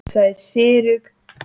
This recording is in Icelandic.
Hann var ekki spilltari en það.